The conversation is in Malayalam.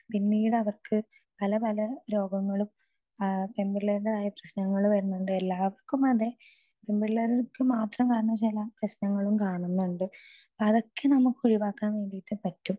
സ്പീക്കർ 2 പിന്നീട അവർക്ക് പല പല രോഗങ്ങളും എന്തെല്ലോമായ പ്രശ്ങ്ങളും വരുന്നുണ്ട് എല്ലാവര്ക്കും അതെ പെൺപിള്ളേർക്ക് മാത്രമായി ചില പ്രശ്നങ്ങളും കാണുന്നുണ്ട് അതൊക്കെ നമുക്ക് ഒഴിവാക്കാൻ വേണ്ടിയിട്ട് പറ്റും